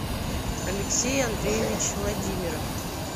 алексей андреевич владимиров